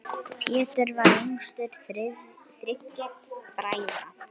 Pétur var yngstur þriggja bræðra.